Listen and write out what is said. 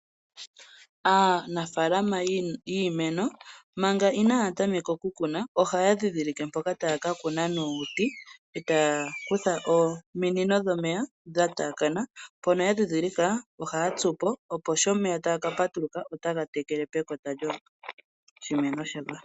Aanafaalama yiimeno manga inaaya tameka okukuna ohaya ndhindhilike mpoka taya ka kuna nuuti, etaya kutha ominino dhomeya dhataakana, mpono ya ndhindhilika ohaya tsupo opo sho omeya taga ka patuluka otaga tekele pekota lyoshimeno shoka.